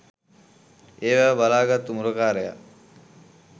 ඒ වැව බලා ගත්තු මුරකාරයා